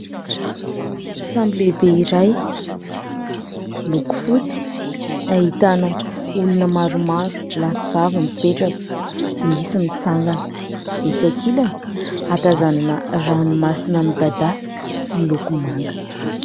Sambo lehibe iray miloko fotsy, ahitana olona maromaro lahy sy vavy mipetraka, misy mitsangana ; etsy ankilany atazanana ranomasina midadasika miloko manga.